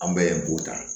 An bɛɛ ye b'o ta